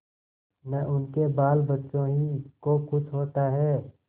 न उनके बालबच्चों ही को कुछ होता है